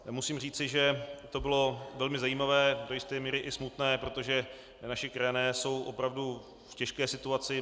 Musím říci, že to bylo velmi zajímavé, do jisté míry i smutné, protože naši krajané jsou opravdu v těžké situaci.